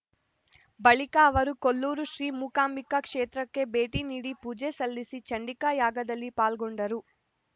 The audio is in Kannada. ಬಳಿಕ ಅವರು ಕೊಲ್ಲೂರು ಶ್ರೀ ಮುಕಾಂಬಿಕಾ ಕ್ಷೇತ್ರಕ್ಕೆ ಭೇಟಿ ನೀಡಿ ಪೂಜೆ ಸಲ್ಲಿಸಿ ಚಂಡಿಕಾ ಯಾಗದಲ್ಲಿ ಪಾಲ್ಗೊಂಡರು